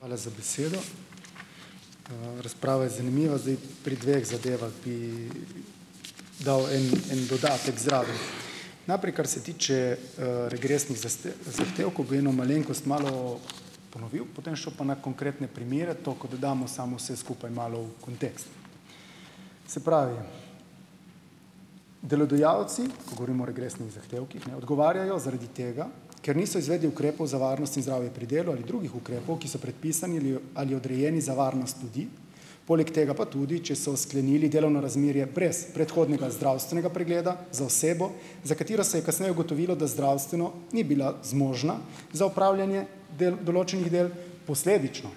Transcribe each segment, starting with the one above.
Hvala za besedo. Razprava je zanimiva, zdaj. Pri dveh zadevah bi dal en en dodatek zraven. Naprej, kar se tiče regresnih zahtevkov, bi eno malenkost malo ponovil, potem šel na konkretne primere, toliko da damo samo vse skupaj malo v kontekst. Se pravi, delodajalci, ko govorimo o regresnih zahtevkih, ne, odgovarjajo zaradi tega, ker niso izvedli ukrepov za varnost in zdravje pri delu ali drugih ukrepov, ki so predpisani li ali odrejeni za varnost ljudi, poleg tega pa tudi, če so sklenili delovno razmerje brez predhodnega zdravstvenega pregleda za osebo, za katero se je kasneje ugotovilo, da zdravstveno ni bila zmožna za opravljanje del, določenih del, posledično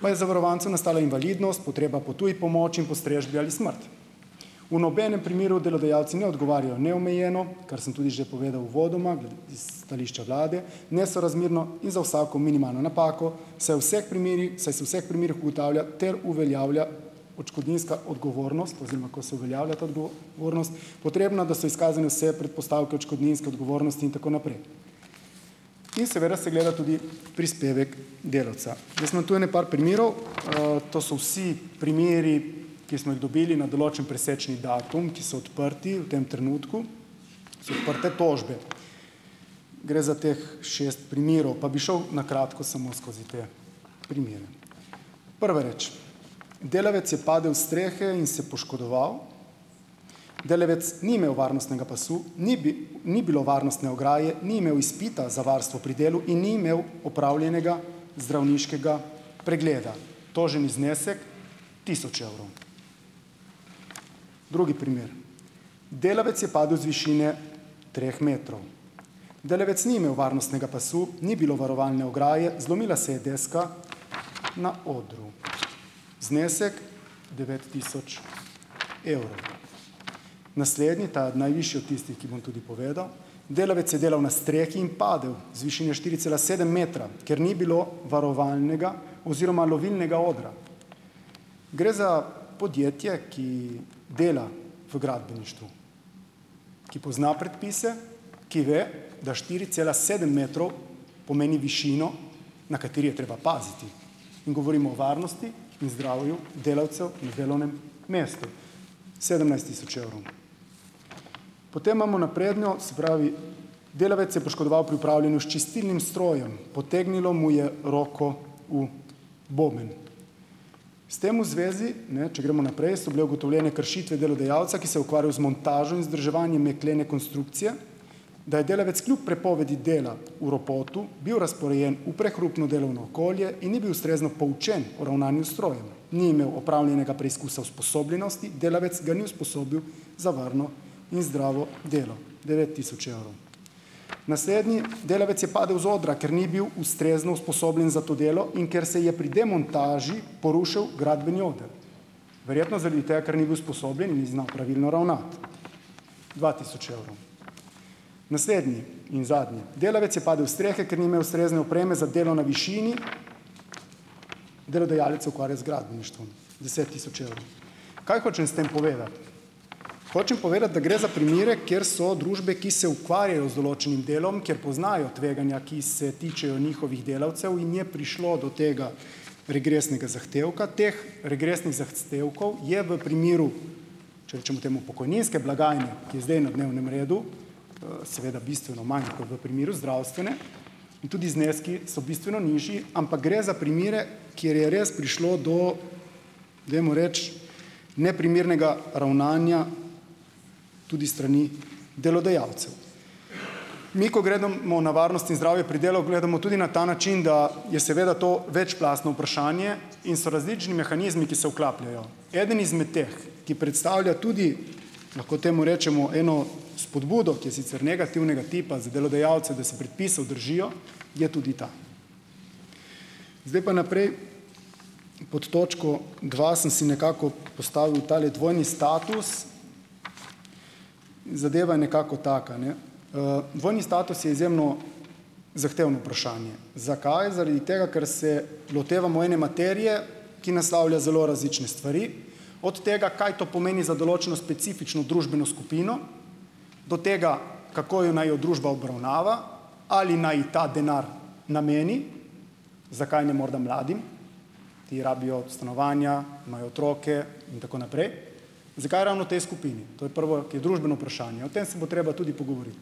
pa je zavarovancu nastala invalidnost, potreba po tuji pomoči in postrežbi ali smrt. V nobenem primeru delodajalci ne odgovarjajo neomejeno, kar sem tudi že povedal uvodoma, s stališča vlade, nesorazmerno in za vsako minimalno napako, saj v vseh primerih, saj se v vseh primerih ugotavlja ter uveljavlja odškodninska odgovornost oziroma, ko se uveljavlja ta odgovornost, potrebna, da so izkazane vse predpostavke odškodninske odgovornosti in tako naprej. In seveda se gleda tudi prispevek delavca. Jaz imam tu ene par primerov, to so vsi primeri, ki smo jih dobili na določen presečni datum, ki so odprti v tem trenutku, so odprte tožbe. Gre za teh šest primerov, pa bi šel na kratko samo skozi te primere. Prva reč. Delavec je padel s strehe in se poškodoval. Delavec ni imel varnostnega pasu, ni ni bilo varnostne ograje, ni imel izpita za varstvo pri delu in ni imel opravljenega zdravniškega pregleda. Toženi znesek tisoč evrov. Drugi primer. Delavec je padel z višine treh metrov. Delavec ni imel varnostnega pasu, ni bilo varovalne ograje, zlomila se je deska na odru. Znesek devet tisoč evrov. Naslednji, ta je najvišji od tistih, ki bom tudi povedal. Delavec je delal na strehi in padel z višine štiri cela sedem metra, ker ni bilo varovalnega oziroma lovilnega odra. Gre za podjetje, ki dela v gradbeništvu. Ki pozna predpise, ki ve, da štiri cela sedem metrov pomeni višino, na kateri je treba paziti, in govorimo o varnosti in zdravju delavcev na delovnem mestu. Sedemnajst tisoč evrov. Potem imamo napredno, se pravi, delavec se je poškodoval pri upravljanju s čistilnim strojem. Potegnilo mu je roko v boben. S tem v zvezi, ne, če gremo naprej, so bile ugotovljene kršitve delodajalca, ki se je ukvarjal z montažo in vzdrževanjem jeklene konstrukcije, da je delavec kljub prepovedi dela v ropotu bil razporejen v prehrupno delovno okolje in ni bil ustrezno poučen o ravnanju s strojem. Ni imel opravljenega preizkusa usposobljenosti, delavec ga ni usposobil za varno in zdravo delo. Devet tisoč evrov. Naslednji, delavec je padel z odra, ker ni bil ustrezno usposobljen za to delo in ker se je pri demontaži porušil gradbeni oder. Verjetno zaradi tega, ker ni bil usposobljen in ni znal pravilno ravnati. Dva tisoč evrov. Naslednji in zadnji, delavec je padel s strehe, ker ni imel ustrezne opreme za delo na višini. Delodajalec se ukvarja z gradbeništvom. Deset tisoč evrov. Kaj hočem s tem povedati? Hočem povedati, da gre za primere, kjer so družbe, ki se ukvarjajo z določenim delom, kjer poznajo tveganja, ki se tičejo njihovih delavcev in je prišlo do tega regresnega zahtevka. Teh regresnih zahtevkov je v primeru, če rečemo temu pokojninske blagajne, ki je zdaj na dnevnem redu, seveda bistveno manj kot v primeru zdravstvene in tudi zneski so bistveni nižji, ampak gre za primere, kjer je res prišlo do, dajmo reči, neprimernega ravnanja tudi s strani delodajalcev. Mi, ko gledamo na varnost in zdravje pri delu, gledamo tudi na ta način, da je seveda to večplastno vprašanje in so različni mehanizmi, ki se vklapljajo. Eden izmed teh, ki predstavlja tudi, lahko temu rečemo eno spodbudo, ki je sicer negativnega tipa za delodajalce, da se predpisov držijo, je tudi ta. Zdaj pa naprej, pod točko dva sem si nekako postavil tale dvojni status. Zadeva je nekako taka, ne. Dvojni status je izjemno zahtevno vprašanje. Zakaj? Zaradi tega, ker se lotevamo ene materije, ki naslavlja zelo različne stvari. Od tega, kaj to pomeni za določeno specifično družbeno skupino, do tega, kako jo naj jo družba obravnava, ali naj ji ta denar nameni. Zakaj ne morda mladim? Ti rabijo stanovanja, imajo otroke in tako naprej. Zakaj ravno tej skupini? To je prvo, ki je družbeno vprašanje. O tem se bo treba tudi pogovoriti.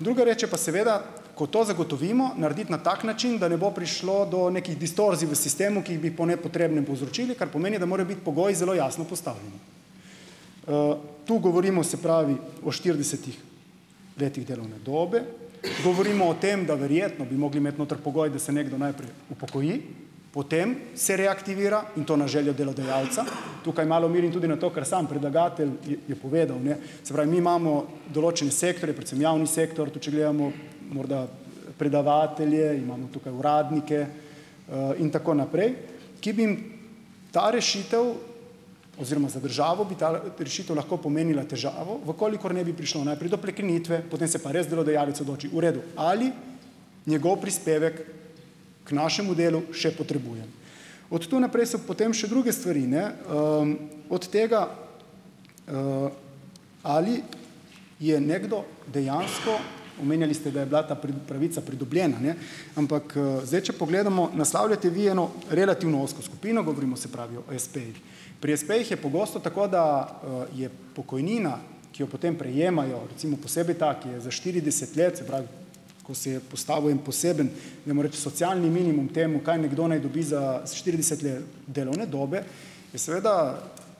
Druga reč je pa seveda, ko to zagotovimo, narediti na tak način, da ne bo prišlo do nekih distorzij v sistemu, ki jih bi po nepotrebnem povzročili, kar pomeni, da morajo biti pogoji zelo jasno postavljeni. Tu govorimo, se pravi, o štiridesetih letih delovne dobe, govorimo o tem, da verjetno bi mogli imeti noter pogoj, da se nekdo najprej upokoji, potem se reaktivira in to na željo delodajalca. Tukaj malo merim tudi na to, ker samo predlagatelj je povedal, ne, se pravi, mi imamo določene sektorje, predvsem javni sektor, tudi če gledamo morda, predavatelje, imamo tukaj uradnike in tako naprej, ki bi jim ta rešitev, oziroma, za državo bi ta rešitev lahko pomenila težavo, v kolikor ne bi prišlo najprej do prekinitve, potem se pa res delodajalec odloči, v redu, ali njegov prispevek k našemu delu še potrebujem. Od tu naprej so potem še druge stvari, ne Od tega, ali je nekdo dejansko, omenjali ste, da je bila ta pravica pridobljena ne, ampak, zdaj če pogledamo, naslavljate vi eno relativno ozko skupino, govorimo se pravi o espejih. Pri espejih je pogosto tako, da je pokojnina, ki jo potem prejemajo, recimo posebej ta, ki je za štirideset let, se pravi, ko se je postavil en poseben, dajmo reči socialni minimum temu, kaj nekdo naj dobi za s štirideset let delovne dobe, je seveda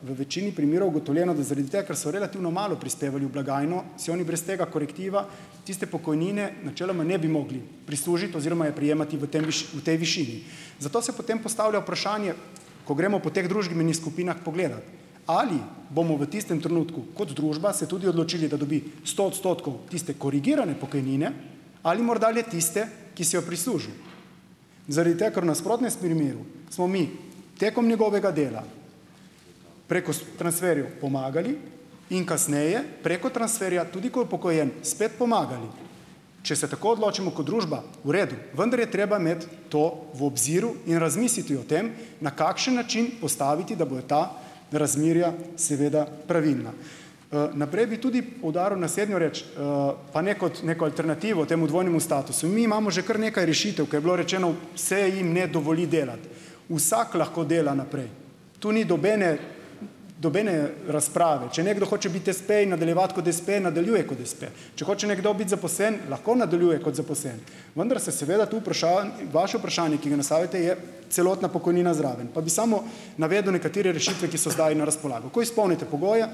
v večini primerov ugotovljeno, da zaradi tega, ker so relativno malo prispevali v blagajno, si oni brez tega korektiva tiste pokojnine načeloma ne bi mogli prislužiti oziroma je prejemati v tem v tej višini. Zato se potem postavlja vprašanje, ko gremo po teh družbenih skupinah pogledat - ali bomo v tistem trenutku kot družba se tudi odločili, da dobi sto odstotkov tiste korigirane pokojnine ali morda le tiste, ki si jo je prislužil? Zaradi tega, ker v nasprotnem primeru smo mi tekom njegovega dela preko s transferjev pomagali in kasneje preko transferja, tudi ko je upokojen, spet pomagali. Če se tako odločimo kot družba, v redu, vendar je treba imeti to v obziru in razmisliti o tem, na kakšen način postaviti, da bojo ta razmerja seveda pravilna. Naprej bi tudi poudaril naslednjo reč, pa ne kot neko alternativo temu dvojnemu statusu. Mi imamo že kar nekaj rešitev, ke je bilo rečeno: "Se jim ne dovoli delati." Vsak lahko dela naprej, to ni nobene nobene razprave. Če nekdo hoče biti espe in nadaljevati kot espe, nadaljuje kot espe. Če hoče biti nekdo zaposlen, lahko nadaljuje kot zaposlen, vendar se seveda tu vaše vprašanje, ki ga naslavljate, je celotna pokojnina zraven, pa bi samo navedel nekatere rešitve, ki so zdaj na razpolago. Ko izpolnite pogoje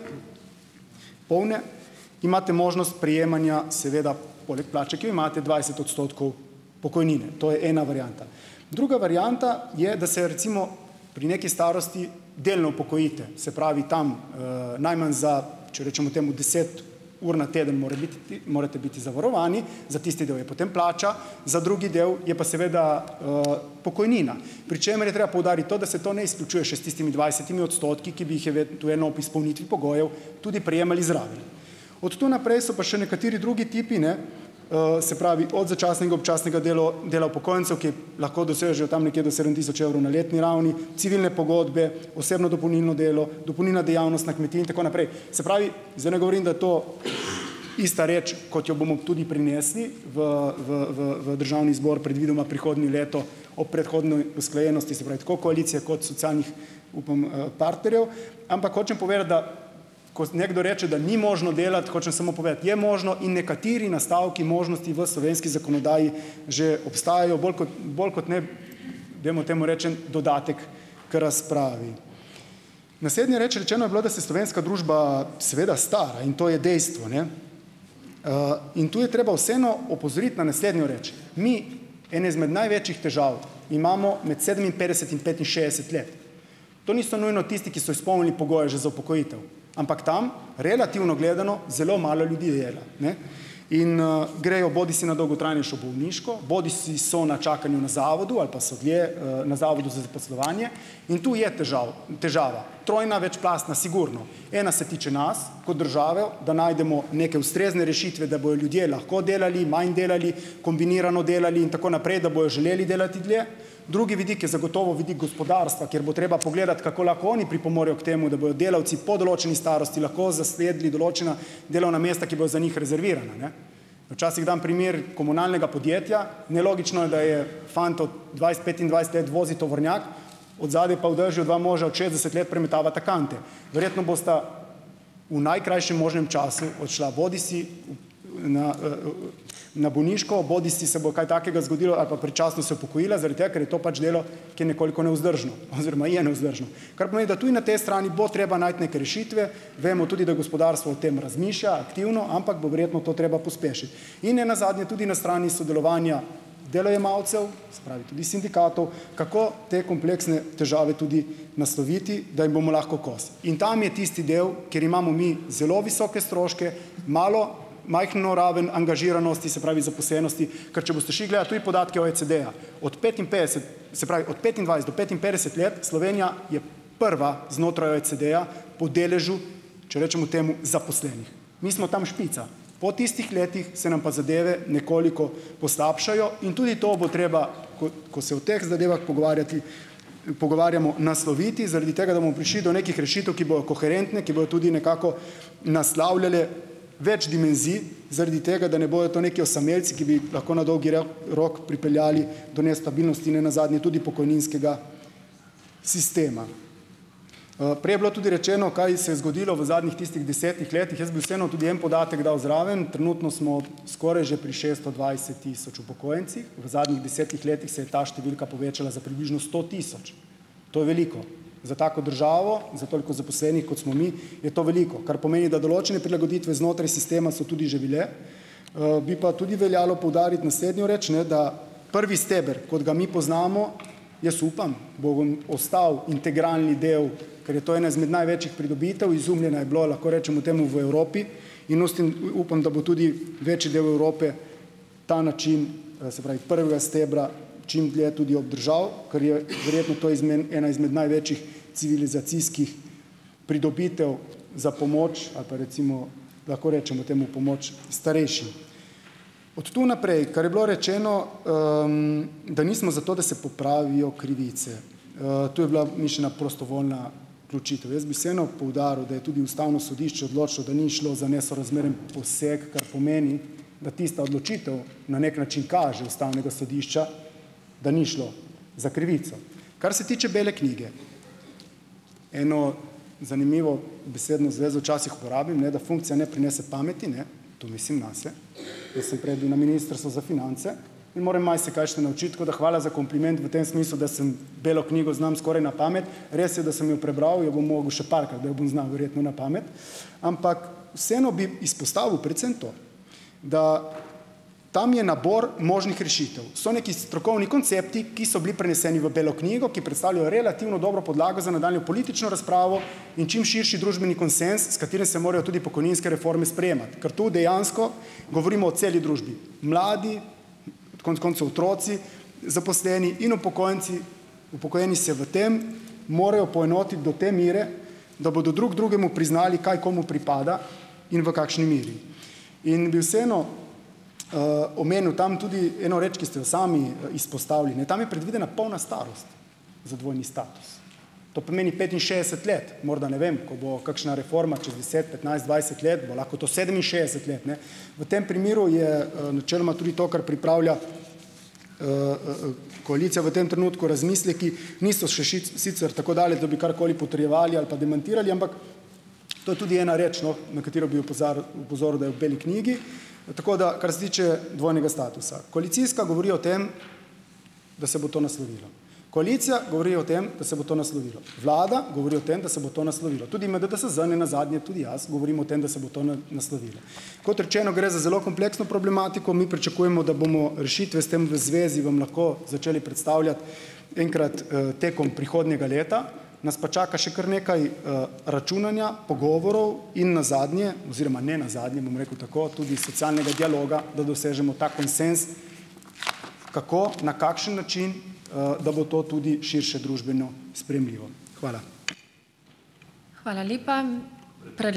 polne, imate možnost prejemanja seveda poleg plače, ki jo imate, dvajset odstotkov pokojnine. To je ena varianta. Druga varianta je, da se recimo pri neki starosti delno upokojite, se pravi tam najmanj za, če rečemo temu deset ur na teden, mora biti ti morate biti zavarovani, za tisti del je potem plača, za drugi del je pa seveda pokojnina, pri čemer je treba poudariti to, da se to ne izključuje še s tistimi dvajsetimi odstotki, ki bi jih eventuelno ob izpolnitvi pogojev tudi prejemali zraven. Od tu naprej so pa še nekateri drugi tipi, ne, se pravi od začasnega, občasnega delo dela upokojencev, ki je lahko dosežejo tam nekje do sedem tisoč evrov na letni ravni, civilne pogodbe, osebno dopolnilno delo, dopolnilna dejavnost na kmetiji in tako naprej. Se pravi, zdaj ne govorim, da je to ista reč, kot jo bomo tudi prinesli v v v v Državni zbor predvidoma prihodnje leto op predhodni usklajenosti, se pravi tako koalicije kot socialnih, upam, partnerjev, ampak hočem povedati, da ko s nekdo reče, da ni možno delati, hočem samo povedati - je možno in nekateri nastavki možnosti v slovenski zakonodaji že obstajajo, bolj kot bolj kot ne dajmo temu reči en dodatek k razpravi. Naslednja reči. Rečeno je bilo, da se slovenska družba seveda stara in to je dejstvo, ne, in tu je treba vseeno opozoriti na naslednjo reč. Mi, ene izmed največjih težav, imamo med sedeminpetdeset in petinšestdeset let. To niso nujno tisti, ki so izpolnili pogoje že za upokojitev, ampak tam relativno gledano zelo malo ljudi dela, ne. In grejo bodisi na dolgotrajnejšo bolniško, bodisi so na čakanju na zavodu ali pa so dlje na Zavodu za zaposlovanje, in tu je težav težava, trojna večplastna, sigurno. Ena se tiče nas kot države, da najdemo neke ustrezne rešitve, da bojo ljudje lahko delali, manj delali, kombinirano delali in tako naprej, da bojo želeli delati dlje. Drugi vidik je zagotovo vidik gospodarstva, kjer bo treba pogledati, kako lahko oni pripomorejo k temu, da bojo delavci po določeni starosti lahko zasedli določena delovna mesta, ki bojo za njih rezervirana, ne. Včasih dam primer komunalnega podjetja, nelogično je, da je fant od dvajset, petindvajset let vozi tovornjak, od zadaj pa v dežju dva moža od šestdeset let premetavata kante, verjetno bosta v najkrajšem možnem času odšla, bodisi na na bolniško, bodisi se bo kaj takega zgodilo ali predčasno se upokojila, zaradi tega, ker je to pač delo, ki je nekoliko nevzdržno oziroma je nevzdržno. Kar pomeni, da tudi na tej strani bo treba najti neke rešitve, vemo tudi, da gospodarstvo o tem razmišlja aktivno, ampak bo verjetno to treba pospešiti, in ne nazadnje tudi na strani sodelovanja delojemalcev, se pravi tudi sindikatov, kako te kompleksne težave tudi nasloviti, da jim bomo lahko kos, in tam je tisti del, kjer imamo mi zelo visoke stroške, malo majhno raven angažiranosti, se pravi zaposlenosti - ker če boste šli gledat tudi podatke OECD-ja, od petinpetdeset, se pravi od petindvajset do petinpetdeset let, Slovenija je prva znotraj OECD-ja po deležu, če rečemo temu zaposlenih. Mi smo tam špica, po tistih letih se nam pa zadeve nekoliko poslabšajo in tudi to bo treba, ko ko se o teh zadevah pogovarjati, pogovarjamo, nasloviti, zaradi tega, da bomo prišli do nekih rešitev, ki bojo koherentne, ki bojo tudi nekako naslavljale več dimenzij, zaradi tega, da ne bojo to neki osamelci, ki bi lahko na dolgi rok rok pripeljali do nestabilnosti, ne nazadnje tudi pokojninskega sistema. Prej je bilo tudi rečeno, kaj se je zgodilo v zadnjih tistih desetih letih. Jaz bi vseeno tudi en podatek dal zraven. Trenutno smo skoraj že pri šesto dvajset tisoč upokojencih, v zadnjih desetih letih se je ta številka povečala za približno sto tisoč, to je veliko za tako državo, za toliko zaposlenih, kot smo mi, je to veliko, kar pomeni, da določene prilagoditve znotraj sistema so tudi že bile. Bi pa tudi veljalo poudariti naslednjo reč, ne da prvi steber, kot ga mi poznamo, jaz upam, bo vam ostal integralni del, ker je to ena izmed največjih pridobitev. Izumljena je bilo, lahko rečemo temu, v Evropi in ustim upam, da bo tudi večji del Evrope ta način, se pravi prvega stebra, čim dlje tudi obdržal, kar je verjetno to izmen ena izmed največjih civilizacijskih pridobitev za pomoč ali pa recimo, lahko rečemo temu, pomoč starejšim. Od tu naprej, kar je bilo rečeno, da nismo za to, da se popravijo krivice. To je bila mišljena prostovoljna vključitev. Jaz bi vseeno poudaril, da je tudi Ustavno sodišče odločilo, da ni šlo za nesorazmeren poseg, kar pomeni, da tista odločitev na neki način kaže Ustavnega sodišča, da ni šlo za krivico. Kar se tiče bele knjige, eno zanimivo besedno zvezo včasih uporabim, ne, da funkcija ne prinese pameti, ne, to mislim nase. Jaz sem prej bil na Ministrstvu za finance in morem marsikaj še naučiti, tako da hvala za kompliment v tem smislu, da sem ... Belo knjigo znam skoraj na pamet. Res je, da sem jo prebral, jo bom moral še parkrat, da jo bom znal verjetno na pamet. Ampak vseeno bi izpostavil predvsem to, da tam je nabor možnih rešitev. So nekaj strokovni koncepti, ki so bili preneseni v belo knjigo, ki predstavljajo relativno dobro podlago za nadaljnjo politično razpravo in čim širši družbeni konsenz, s katerim se morajo tudi pokojninske reforme sprejemati, ker tu dejansko govorimo o celi družbi. Mladi, konec koncev otroci, zaposleni in upokojenci, upokojeni se v tem morajo poenotiti do te mere, da bodo drug drugemu priznali, kaj komu pripada, in v kakšni meri. In bi vseeno omenil tam tudi eno reč, ki ste jo sami izpostavili, ne. Tam je predvidena polna starost za dvojni status, to pomeni petinšestdeset let. Morda, ne vem, ko bo kakšna reforma čez deset, petnajst, dvajset let, bo lahko to sedeminšestdeset let, ne. V tem primeru je načeloma tudi to, kar pripravlja koalicija, v tem trenutku razmisleki niso še nič sicer tako dalje, da bi karkoli potrjevali ali pa demantirali, ampak to je tudi ena reč, no, na katero bi opozoril, da je v beli knjigi. Tako da, kar se tiče dvojnega statusa. Koalicijska govori o tem, da se bo to naslovilo. Koalicija govori o tem, da se bo to naslovilo. Vlada govori o tem, da se bo to naslovilo. Tudi MDDSZM, ne nazadnje tudi jaz govorim o tem, da se bo to naslovilo. Kot rečeno, gre za zelo kompleksno problematiko. Mi pričakujemo, da bomo rešitve s tem v zvezi vam lahko začeli predstavljati enkrat tekom prihodnjega leta, nas pa čaka še kar nekaj računanja, pogovorov in nazadnje oziroma ne nazadnje, bom rekel tako, tudi socialnega dialoga, da dosežemo ta konsenz, kako, na kakšen način, da bo to tudi širše družbeno sprejemljivo. Hvala.